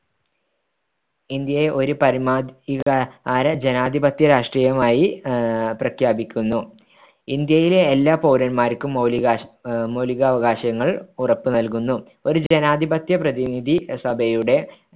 ഇന്ത്യയെ ഒരു പരമാധികാര ജനാധിപത്യ രാഷ്‌ട്രമായി ആഹ് പ്രഖ്യാപിക്കുന്നു ഇന്ത്യയിലെ എല്ലാ പൗരന്മാർക്കും മൗലികാശ് മൗലികാവകാശങ്ങൾ ഉറപ്പ്‌ നൽകുന്നു ഒരു ജനാധിപത്യ പ്രതിനിധി സഭയുടെ